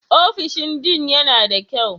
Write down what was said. Ofishin Dean yana da kyau?